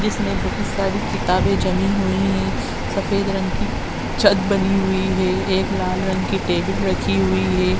जिसमे बहुत सारी किताबे जमी हुई है। सफ़ेद रंग की छत बनी हुई है। एक लाल रंग की टेबल रखी हुई है।